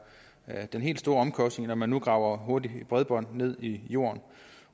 er den helt store omkostning når man nu graver hurtigt bredbånd ned i jorden